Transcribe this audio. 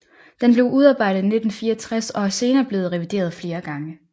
Den blev udarbejdet i 1964 og er senere blevet revideret flere gange